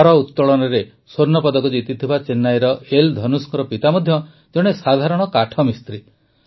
ଭାରୋତଳନରେ ସ୍ୱର୍ଣ୍ଣପଦକ ଜିତିଥିବା ଚେନ୍ନାଇର ଏଲ୍ ଧନୁଷଙ୍କ ପିତା ମଧ୍ୟ ଜଣେ ସାଧାରଣ କାଠମିସ୍ତ୍ରୀ